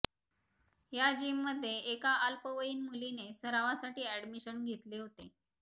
या जिममध्ये एक अल्पवयीन मुलीने सरावासाठी अॅडमिशन घेतले होते